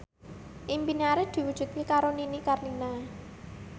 impine Arif diwujudke karo Nini Carlina